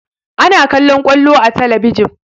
Ana kallaon ƙwallo a talabijin